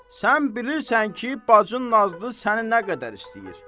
Sən bilirsən ki, bacın Nazlı səni nə qədər istəyir?